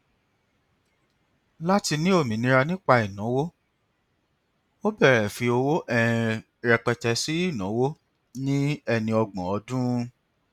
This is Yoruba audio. láti ní òmìnira nípa ìnáwó ó bẹrẹ fi owó um rẹpẹtẹ ṣe ìnáwó ní ẹni ọgbọn ọdún